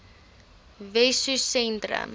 wessosentrum